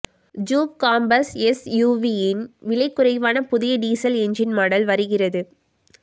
jeep Compass எஸ்யூவியின் விலை குறைவான புதிய டீசல் எஞ்சின் மாடல் வருகிறது